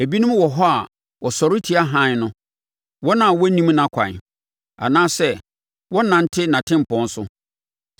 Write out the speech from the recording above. “Ebinom wɔ hɔ a wɔsɔre tia hann no, wɔn a wɔnnim nʼakwan anaasɛ wɔnnante nʼatempɔn so.